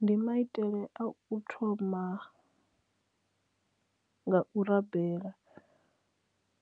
Ndi maitele a u thoma nga u rabela